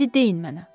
İndi deyin mənə.